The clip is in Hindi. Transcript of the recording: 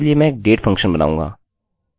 मैं इसे विशिष्ट संरचना में रखूँगा